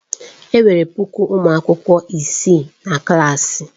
Enwere puku ụmụ akwụkwọ isii na klaasị.